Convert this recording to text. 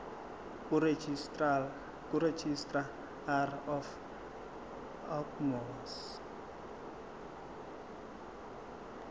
kuregistrar of gmos